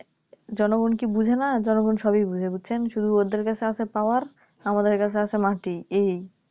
জনগণ কি বোঝে না জনগণ সবই বোঝে বুঝেছেন শুধু ওদের কাছে আছে Power আমাদের কাছে আছে মাটি এই